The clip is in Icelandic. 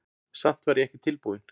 Samt var ég ekki tilbúinn.